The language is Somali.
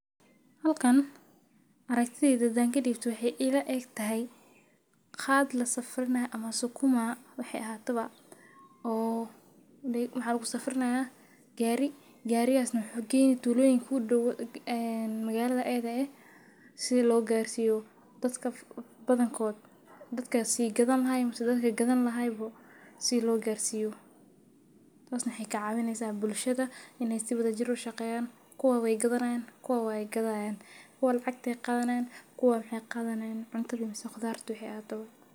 Halkan aragtidhyda hadan kadibto waxee ila egtahay qad lasafrinayo ama sukuma waxee ahatawa oo maxa lagu safeinaya gari maxi kenaya magalada kudow maxee kacawineysa bulshaada kuwa maxee kadhanayan kudharta kuwana maxee qadhanayan lacag sas waye.